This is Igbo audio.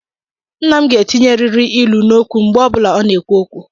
Nna m ga-etinyeriri ilu n’okwu mgbe ọbụla ọ na-ekwu okwu